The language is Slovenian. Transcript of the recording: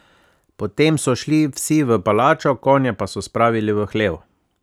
Potem so šli vsi v palačo, konje pa so spravili v hlev.